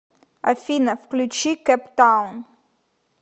афина включи кэптаун